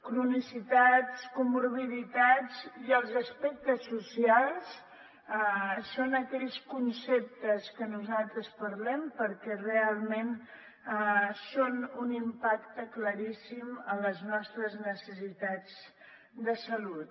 cronicitats comorbiditats i els aspectes socials són aquells conceptes que nosaltres parlem perquè realment són un impacte claríssim a les nostres necessitats de salut